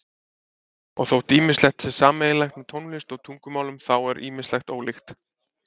Og þótt ýmislegt sé sameiginlegt með tónlist og tungumálum þá er ýmislegt ólíkt.